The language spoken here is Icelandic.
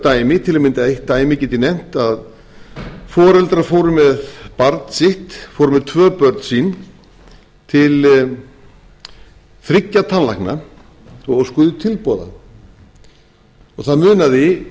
dæmi til að mynda eitt dæmi get ég nefnt að foreldrar fóru með barn sitt fóru með tvö börn sín til þriggja tannlækna og óskuðu tilboða það munaði